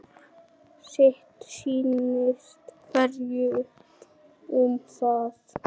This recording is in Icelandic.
Sitt sýnist hverjum um það.